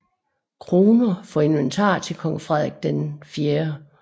Kroner for inventar til kong Frederik IV